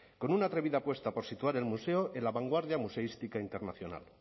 con una atrevida apuesta por situar el museo en la vanguardia museística internacional